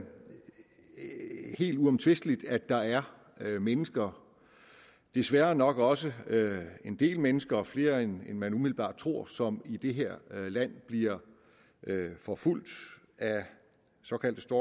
helt uomtvisteligt at der er mennesker desværre nok også en del mennesker og flere end man umiddelbart tror som i det her land bliver forfulgt af såkaldte